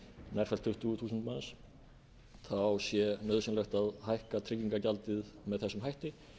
nærfellt tuttugu þúsund manns sé nauðsynlegt að hækka tryggingagjaldið með þessum hætti